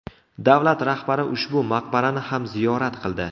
Davlat rahbari ushbu maqbarani ham ziyorat qildi.